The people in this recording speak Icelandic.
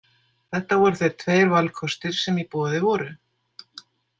Þetta voru þeir tveir valkostir sem í boði voru.